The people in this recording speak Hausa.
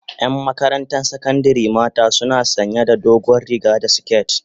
yan Makaranta sakandari mata suna sanya da dogon riga da siket